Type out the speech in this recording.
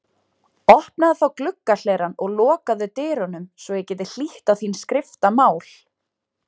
Opnaðu þá gluggahlerann og lokaðu dyrunum svo ég geti hlýtt á þín skriftamál.